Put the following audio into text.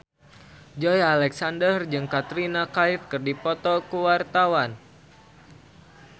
Joey Alexander jeung Katrina Kaif keur dipoto ku wartawan